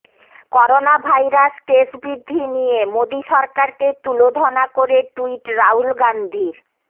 corona virus case বৃদ্ধি নিয়ে মোদী সরকারকে তুলোধনা করে টুইট রাহুল গান্ধীর